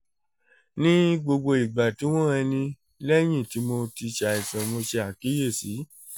ni gbogbo igba ti wọn han ni lẹhin ti mo ti ṣàìsàn mo ṣe akiyesi